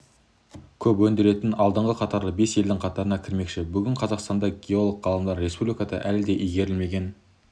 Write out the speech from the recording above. көп өндіретін алдыңғы қатарлы бес елдің қатарына кірмекші бүгінде қазақстандық геолог-ғалымдар республикада әлі де игерілмеген